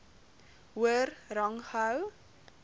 hoër rang gehou